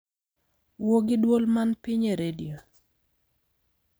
Wuo gi dwol man piny e redio